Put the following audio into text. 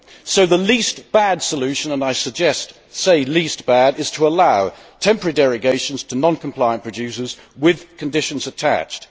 So the least bad solution and I say least bad' is to allow temporary derogations to non compliant producers with conditions attached.